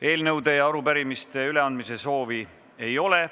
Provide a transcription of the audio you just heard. Eelnõude ega arupärimiste üleandmise soovi ei ole.